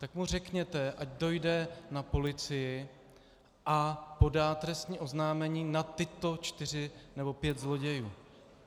Tak mu řekněte, ať dojde na policii a podá trestní oznámení na tyto čtyři nebo pět zlodějů.